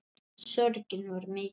Sorgin var mikil.